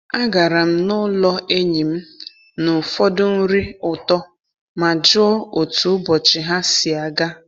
Agara m n'ụlọ enyi m na ụfọdụ nri ụtọ ma jụọ otu ụbọchị ha si aga.